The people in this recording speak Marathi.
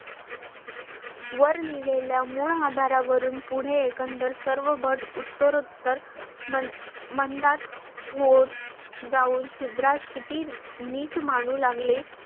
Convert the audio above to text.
वर लिहिलेल्या मूळ आधारा वरून पुढे एकंदर सर्व भट उत्तरोत्तर ममंडात होते जाऊन शुद्रास किती नीच मानू लागले